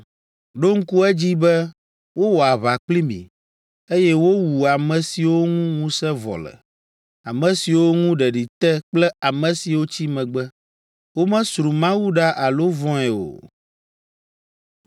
Ɖo ŋku edzi be wowɔ aʋa kpli mi, eye wowu ame siwo ŋu ŋusẽ vɔ le, ame siwo ŋu ɖeɖi te kple ame siwo tsi megbe. Womesro Mawu ɖa alo vɔ̃e o,